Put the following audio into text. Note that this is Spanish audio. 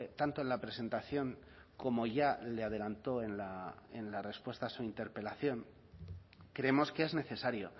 tanto en la presentación como ya le adelantó en la respuesta a su interpelación creemos que es necesario